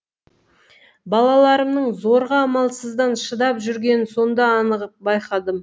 балаларымның зорға амалсыздан шыдап жүргенін сонда анық байқадым